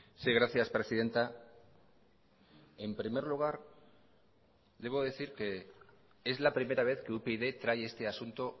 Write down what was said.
sí gracias presidenta en primer lugar debo decir que es la primera vez que upyd trae este asunto